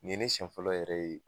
Nin ye ne sɛn fɔlɔ yɛrɛ ye